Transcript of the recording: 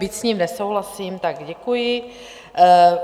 Byť s ním nesouhlasím, tak děkuji.